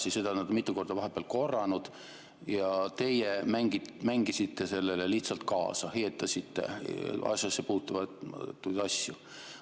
Ta on seda vahepeal mitu korda korranud ja teie mängisite sellele lihtsalt kaasa, heietasite asjasse puutumatuid asju.